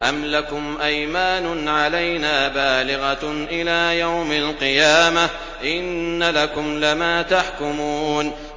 أَمْ لَكُمْ أَيْمَانٌ عَلَيْنَا بَالِغَةٌ إِلَىٰ يَوْمِ الْقِيَامَةِ ۙ إِنَّ لَكُمْ لَمَا تَحْكُمُونَ